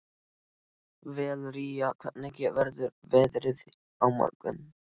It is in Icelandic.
Valería, hvernig verður veðrið á morgun?